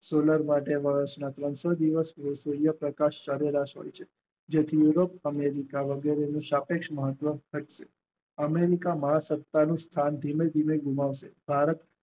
ત્રણસો દિવસ કરતા સારેવસન છે જે બેહદ અંગીકા વડે સાપેક્ષ મહત્વ સ્થાપ્યું અમેરિકા મહા સપ્તાહ નું સ્થાન ધીમે ધીમે ગુમાસે ભારત